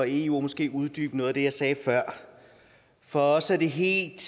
eu og måske uddybe noget af det jeg sagde før for os er det helt